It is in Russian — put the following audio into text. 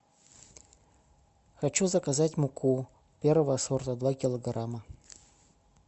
хочу заказать муку первого сорта два килограмма